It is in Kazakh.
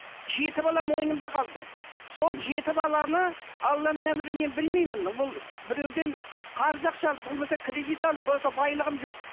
жеті балам мойнымда қалды сол жеті баланы алланың әмірі мен білмеймін ол біреуден қарыз ақша алып болмаса кредит алып болса байлығым жоқ